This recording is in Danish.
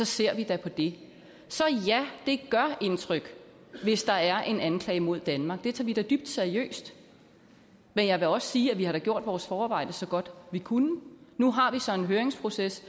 ser vi da på det så ja det gør indtryk hvis der er en anklage mod danmark det tager vi da dybt seriøst men jeg vil også sige at vi da har gjort vores forarbejde så godt vi kunne nu har vi så en høringsproces